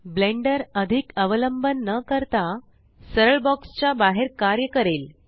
blender अधिक अवलंबन न करता सरळ बॉक्स च्या बाहेर कार्य करेल